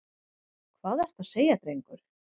Hvað ertu að segja, drengur?